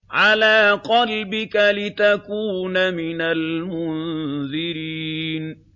عَلَىٰ قَلْبِكَ لِتَكُونَ مِنَ الْمُنذِرِينَ